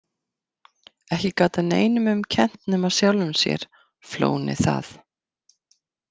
Ekki gat hann neinum um kennt nema sjálfum sér, flónið það.